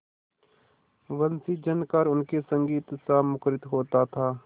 वंशीझनकार उनके संगीतसा मुखरित होता था